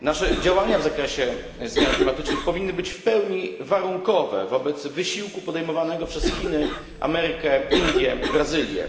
Nasze działania w zakresie zmian klimatycznych powinny być w pełni warunkowe wobec wysiłku podejmowanego przez Chiny, Amerykę, Indie, Brazylię.